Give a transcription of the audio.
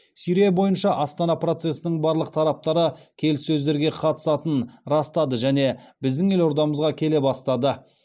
сирия бойынша астана процесінің барлық тараптары келіссөздерге қатысатынын растады және біздің елордамызға келе бастады